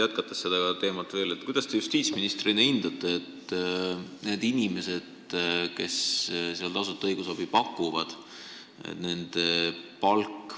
Jätkates sama teemat, kuidas te justiitsministrina hindate seda, et nende inimeste palk, kes seal tasuta õigusabi pakuvad, oli sadades eurodes?